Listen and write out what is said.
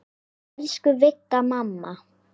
Elsku Vigga mamma.